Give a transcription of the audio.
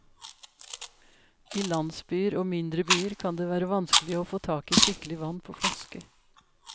I landsbyer og mindre byer kan det være vanskelig å få tak i skikkelig vann på flaske.